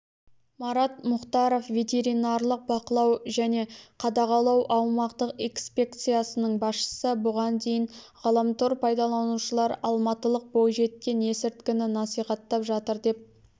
марат мұхтаров ветеринарлық бақылау және қадағалау аумақтық инспекциясының басшысы бұған дейін ғаламтор пайдаланушылар алматылық бойжеткен ескіртіні насихаттап жатыр деп